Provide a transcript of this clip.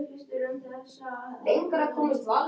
Stormur, hvað er í matinn?